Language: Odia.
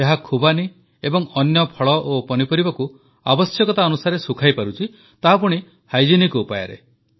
ଏହା ଖୁବାନୀ ଏବଂ ଅନ୍ୟ ଫଳ ଓ ପନିପରିବାକୁ ଆବଶ୍ୟକତା ଅନୁସାରେ ଶୁଖାଇପାରୁଛି ତାହା ପୁଣି ପୁଷ୍ଟିକର ଉପାୟରେ